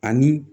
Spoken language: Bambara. Ani